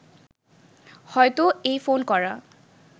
হয়ত এই ফোন করা